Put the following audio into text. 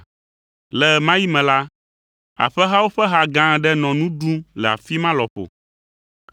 Le ɣe ma ɣi me la, aƒehawo ƒe ha gã aɖe nɔ nu ɖum le afi ma lɔƒo.